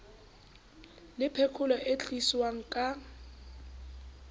le phekolo e tliswang ka